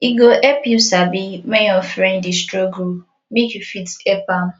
e go help you sabi when your friend de struggle make you fit help am